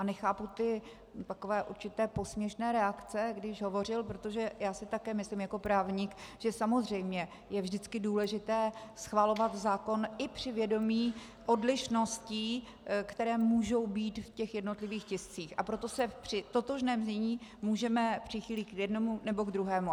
A nechápu ty takové určité posměšné reakce, když hovořil, protože já si také myslím jako právník, že samozřejmě je vždycky důležité schvalovat zákon i při vědomí odlišností, které můžou být v těch jednotlivých tiscích, a proto se při totožném znění můžeme přichýlit k jednomu, nebo k druhému.